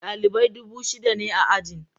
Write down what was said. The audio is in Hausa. Dalibai dubu shida ne a ajin.